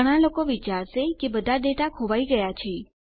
ઘણા લોગો વિચારશે કે બધા ડેટા હવે ખોવાઈ ગયા છે